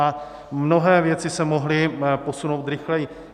A mnohé věci se mohly posunout rychleji.